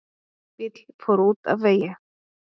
Bíll fór út af vegi